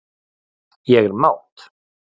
Ég er mát.